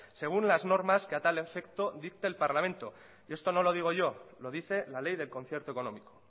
según las normas que a tal efecto dicta el parlamento esto no lo digo yo lo dice la ley del concierto económico